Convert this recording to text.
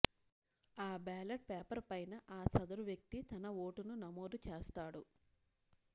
ఆ ballot paper పైన ఆ సదరు వ్యక్తి తన ఓటును నమోదు చేస్తాడు